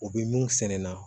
U bɛ mun sɛnɛ na